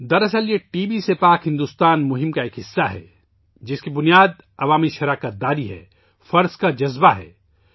دراصل، یہ T B سے پاک بھارت مہم کا ایک حصہ ہے، جس کی بنیاد عوامی شرکت ہے ، فرائض کا جذبہ ہے